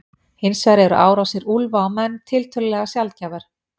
Hins vegar eru árásir úlfa á menn tiltölulega sjaldgæfar.